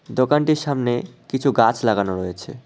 দোকানটির সামনে কিছু গাছ লাগানো রয়েছে।